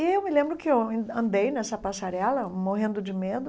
E eu me lembro que eu andei nessa passarela morrendo de medo,